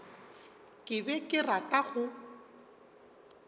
ke be ke rata go